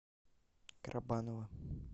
карабаново